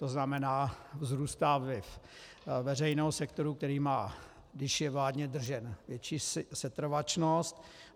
To znamená, vzrůstá vliv veřejného sektoru, který má, když je vládně držen, větší setrvačnost.